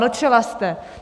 Mlčela jste.